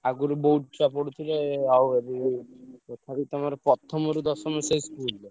ଆଗୁରୁ ବହୁତ ଛୁଆ ପଢୁଥିଲେ ଆଉ ଏବେ ତଥାପି ତମର ପ୍ରଥମରୁ ଦଶମ ସେ school ରେ।